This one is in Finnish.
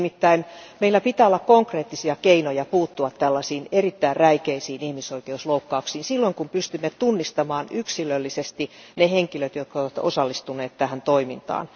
Nimittäin meillä pitää olla konkreettisia keinoja puuttua tällaisiin erittäin räikeisiin ihmisoikeusloukkauksiin, silloin kun pystymme tunnistamaan yksilöllisesti ne henkilöt, jotka ovat osallistuneet tähän toimintaan.